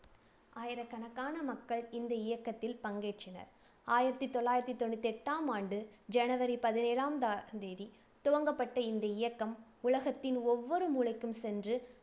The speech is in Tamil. ஆயிரக்கணக்கான மக்கள் இந்த இயக்கத்தில் பங்கேற்றனர். ஆயிரத்தி தொள்ளாயிரத்தி தொண்ணூத்தி எட்டாம் ஆண்டு ஜனவரி பதினேழாம் தா~ தேதி துவங்கப்பட்ட இந்த இயக்கம் உலகத்தின் ஒவ்வொரு மூலைக்கும் சென்று,